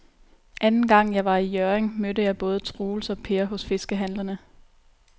Anden gang jeg var i Hjørring, mødte jeg både Troels og Per hos fiskehandlerne.